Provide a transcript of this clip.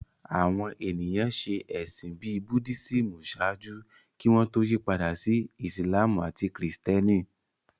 Àwọn ènìyàn ṣe ẹ̀sìn bíi Buddhism ṣáájú kí wọ́n tó yí padà sí Ìsìlámù àti Kìrìtẹ́nì